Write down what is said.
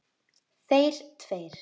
Þeir tveir.